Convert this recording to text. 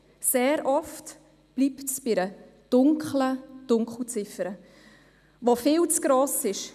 Sehr oft bleibt es bei einer dunklen Dunkelziffer, die immer noch viel zu gross ist.